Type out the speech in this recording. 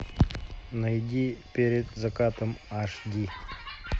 найди перед закатом аш ди